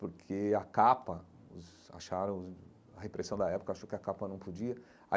Porque a capa os, acharam, a repressão da época, achou que a capa não podia aí.